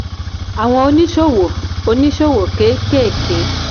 àwọn oníṣòwò oníṣòwò kéékèèké